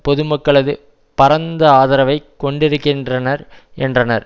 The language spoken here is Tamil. பொதுமக்களது பரந்த ஆதரவை கொண்டிருக்கின்றனர் என்றனர்